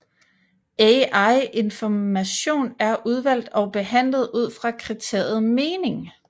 Al information er udvalgt og behandlet ud fra kriteriet mening